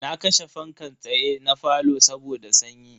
Na kashe fankan tsaye na falo saboda sanyi.